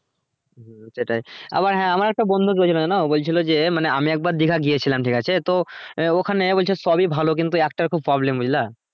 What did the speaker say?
সেটাই আবার হ্যাঁ আমার একটা বন্ধু ও বলছিলো যে মানে আমি একবার দিঘা গিয়েছিলাম ঠিক আছে তো আহ ওখানে বলছে সবই ভালো কিন্তু একটা খুব problem বুঝলে